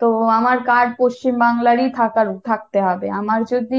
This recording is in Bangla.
তো আমার card পশ্চিমবাংলারই থাকার থাকতে হবে, আমার যদি